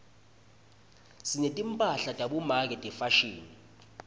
sinetimphahla tabomake tefashini